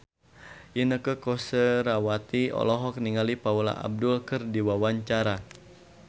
Inneke Koesherawati olohok ningali Paula Abdul keur diwawancara